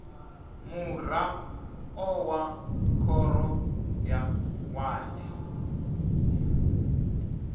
muraḓo wa khoro ya wadi